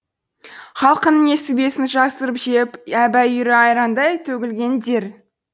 халқының несібесін жасырып жеп әбүйірі айрандай төгілгендер